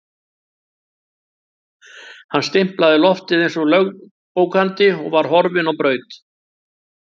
Hann stimplaði loftið eins og lögbókandi og var horfinn á braut.